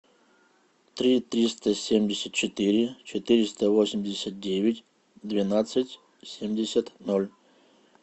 три триста семьдесят четыре четыреста восемьдесят девять двенадцать семьдесят ноль